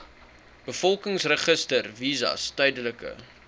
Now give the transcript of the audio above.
bevolkingsregister visas tydelike